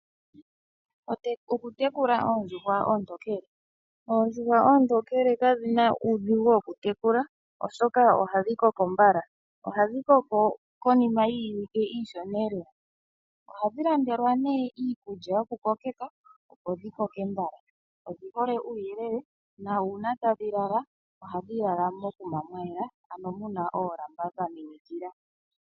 Okutekula oondjuhwa oontokele, oondjuhwa oontokele kadhina uudhigu wokutekula, oshoka ohadhi koko mbala, ohadhi koko konima yiiwike iishona lela. Ohadhi landelwa nee iikulya yoku koke ka, opo dhi koke mbala. Odhi hole uuyelele na uuna tadhi lala ohadhi lala mokuma mwayela, ano muna oolamba dha minikila.